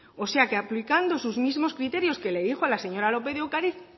o sea que aplicando sus mismos criterios que le dijo a la señor lópez de ocariz